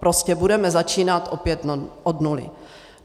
Prostě budeme začínat opět od nuly.